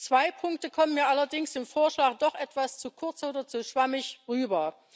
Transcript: Zwei Punkte kommen mir allerdings in dem Vorschlag doch etwas zu kurz oder zu schwammig herüber.